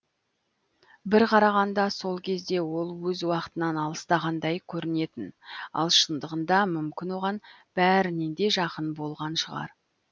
бір қарағанда сол кезде ол өз уақытынан алыстағандай көрінетін ал шындығында мүмкін оған бәрінен де жақын болған шығар